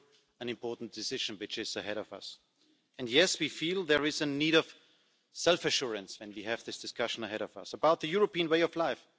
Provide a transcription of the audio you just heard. An important decision lies ahead of us and, yes, we feel a need for self assurance, when we have this discussion ahead of us, about the European way of life.